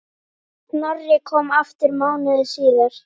Snorri kom aftur mánuði síðar.